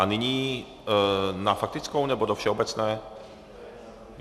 A nyní na faktickou, nebo do všeobecné?